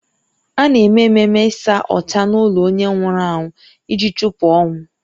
A na-eme ememe ịsa ọcha n’ụlọ onye nwụrụ anwụ iji chụpụ ọnwụ